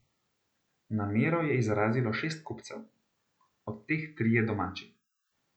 Namero je izrazilo šest kupcev, od teh trije domači.